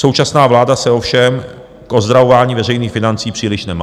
Současná vláda se ovšem k ozdravování veřejných financí příliš nemá."